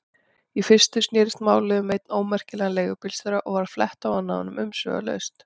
Í fyrstu snerist málið um einn ómerkilegan leigubílstjóra og var flett ofan af honum umsvifalaust.